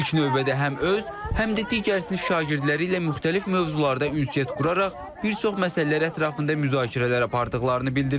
İlk növbədə həm öz, həm də digər sinif şagirdləri ilə müxtəlif mövzularda ünsiyyət quraraq bir çox məsələlər ətrafında müzakirələr apardıqlarını bildirir.